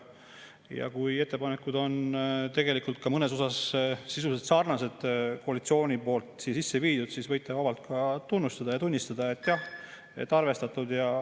Ja kui ettepanekud on mõnes osas sisuliselt sarnased koalitsiooni sisse viidutega, siis võite vabalt tunnustada ja tunnistada, et jah, arvestatud.